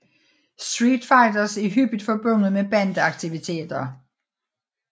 Street fighters er hyppigt forbundet med bande aktiviteter